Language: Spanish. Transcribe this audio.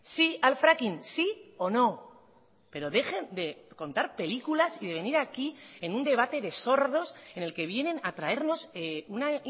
sí al fracking sí o no pero dejen de contar películas y de venir aquí en un debate de sordos en el que vienen a traernos una